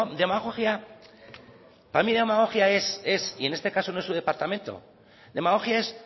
demagogia para mí demagogia es y en este caso no es su departamento demagogia es